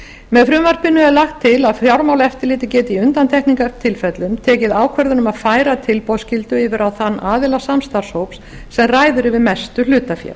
með frumvarpinu er lagt til að fjármálaeftirlitið geti í undantekningartilfellum tekið ákvörðun um að færa tilboðsskyldu yfir á þann aðila samstarfshóps sem ræður yfir mestu hlutafé